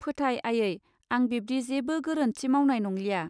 फोथाय आयै आं बिब्दि जेबो गोरोन्थि मावनाय नंलिया.